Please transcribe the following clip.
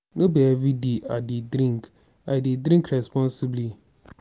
no be everyday i dey drink i dey drink responsibly.